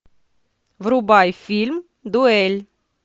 врубай фильм дуэль